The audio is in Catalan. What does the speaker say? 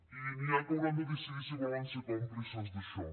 i n’hi ha que hauran de decidir si volen ser còmplices d’això